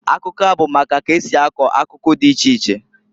Akụkọa bụ maka ka esi akọ akụkụ dị iche iche.